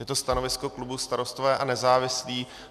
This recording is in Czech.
Je to stanovisko klubu Starostové a nezávislí.